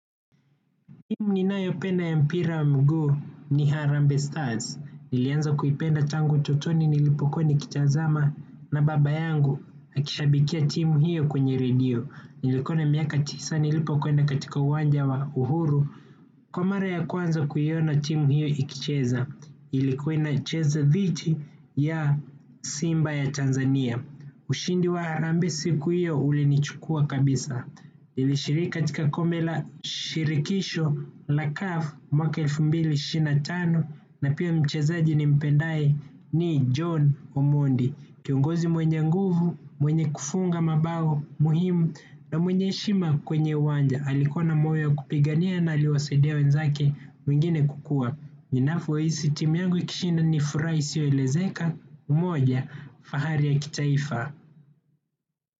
Timu ninayooenda ya mpira wa miguu ni Harambe Stars. Nilianza kuipenda tangu utotoni nilipokuwa nikitazama na baba yangu akishabikia timu hiyo kwenye redio. Nilikuwa na miaka tisa nilipokwenda katika uwanja wa uhuru. Kwa mara ya kwanza kuiona timu hiyo ikicheza. Ilikuwa inacheza dhidi ya Simba ya Tanzania. Ushindi wa Harambee siku hiyo ulinichukua kabisa. Ilishiriki katika kombe la shirikisho la CAF mwaka elfu mbili ishirini na tano, na pia mchezaji nimpendaye. Ni John Omondi, kiongozi mwenye nguvu, mwenye kufunga mabao muhimu na mwenye heshima kwenye uwanja. Hakuwa na moyo wa kupigania na hakuwasaidia wenzake wengine kukua. Ninapohisi timu yangu ikishinda ni furaha isiyoelezeka, umoja, fahari ya kitaifa.